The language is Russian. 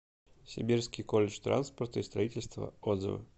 сибирский колледж транспорта и строительства отзывы